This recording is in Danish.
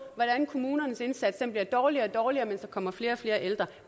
hvordan kommunernes indsats bliver dårligere og dårligere mens der kommer flere og flere ældre